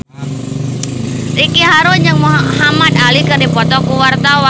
Ricky Harun jeung Muhamad Ali keur dipoto ku wartawan